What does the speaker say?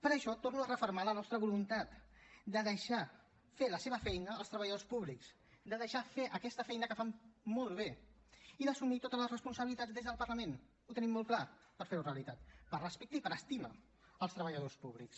per això torno a refermar la nostra voluntat de deixar fer la seva feina als treballadors públics de deixar fer aquesta feina que fan molt bé i d’assumir totes les responsabilitats des del parlament ho tenim molt clar per fer ho realitat per respecte i per estima als treballadors públics